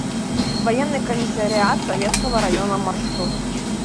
военный комиссариат советского района маршрут